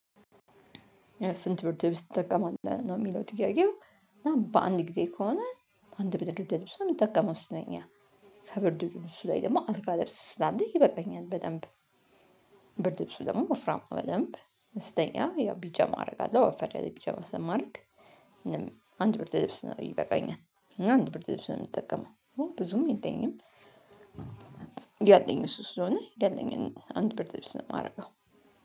ስንት ብርድ ልብስ ትጠቅማለህ ነው የሚለው ጥያቄው? እና በአንድ ጊዜ ከሆነ አንድ ብርድ ልብስ ነው የምጠቀመው ስተኛ ከብርድልብሱ ላይ ደግሞ አልጋ ልብስ ስላለ ይበቃኛል በደንብ። ብርድልብሱ ደግሞ ወፍራም በደንብ ስተኛ ያው ቢጃማ አደርጋለሁ ወፈር ያለ ቢጀማ ስለማድረግ። አንድ ብርድልብስ ይበቃኛል። አንድ ብርድልብስ ነው የምትጠቀመው? ብዙም የለኝም። ያለኝ እሱ ስለሆነ ያለኝን አንድ ብርድልብስ ነው የማደርገው።